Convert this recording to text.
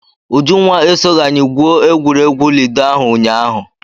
Ujunwa esoghi anyị gwuo egwuregwu Lido ahụ ụnyaahụ.